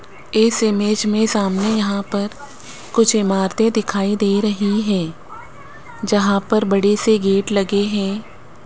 इस इमेज में सामने यहां पर कुछ इमारतें दिखाई दे रही हैं जहां पर बड़े से गेट लगे हैं।